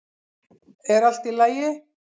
er allt í lagi